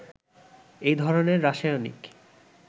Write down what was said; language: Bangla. এ ধরনের রাসায়নিক